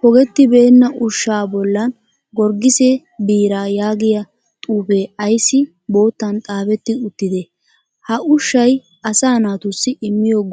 pogettibeenn ushshaa bollan gorgise biiraa yaagiya xuufee ayissi boottan xaafetti uttidee? Ha ushshay asaa naatussi immiyo go'ay ayibee?